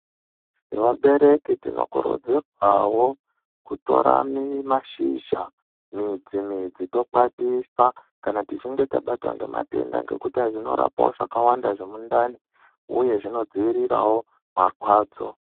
Nevabereki tinokurudzirwawo kutora mashizha, midzi midzi tokwatisa kana tichinge tabatwa ngematenda ngekuti hai zvinorapawo zvakawanda zvemundani uye zvinodzivirirawo marwadzo.